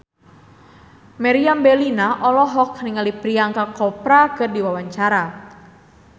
Meriam Bellina olohok ningali Priyanka Chopra keur diwawancara